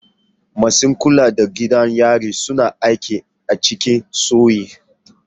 Masu kula da gidan yari suna aiki a cikin sauyi.